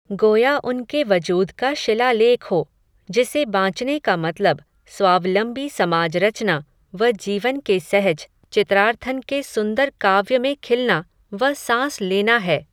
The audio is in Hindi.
गोया उनके वजूद का शिलालेख हो, जिसे बांचने का मतलब, स्वावलम्बी समाज रचना, व जीवन के सहज, चित्रार्थन के सुंदर काव्य में खिलना, व सांस लेना है